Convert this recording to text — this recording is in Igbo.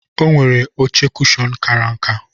Onwere oche kushon kara nka.